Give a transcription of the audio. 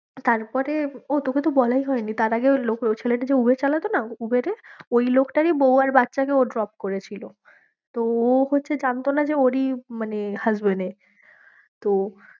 তারপরে ও তোকে তো বলাই হয়নি, তার আগে ওই ছেলেটি যে উবের চালাতো না উবেরে ওই লোকটারই বউ আর বাচ্চাকে ও drop করেছিল তো ও হচ্ছে জানতো না ওরই মানে husband এর তো